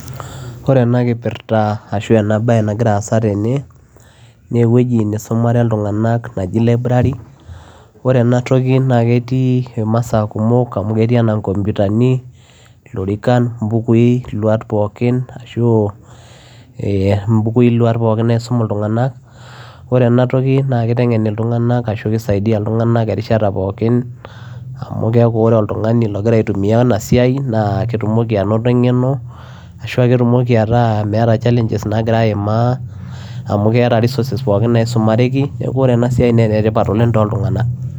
Ore ena kipirta ashu ena baye nagira aasa tene naa ewueji nisumare iltung'anak naji library ore ena toki naa ketii imasaa kumok amu ketii enaa nkompyutani, ilorikan mbukuui iluaat pookin ashu ee mbukui iluaat pookin naisum iltung'anak, ore ena toki naa kiteng'en iltung'anak ashu kisaidia iltung'anak erishata pookin amu keeku ore oltung'ani ogira aitumia ena toki naa ketumoki anoto eng'eno ashu aa ketumoki ataa meeta challenges naagira aimaa amu keeta resources pookin naisumareki neeku ore ena siai naa enetipata oleng' toltung'anak.